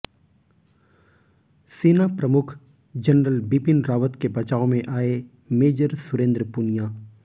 सेना प्रमुख जनरल बिपिन रावत के बचाव में आए मेजर सुरेंद्र पुनिया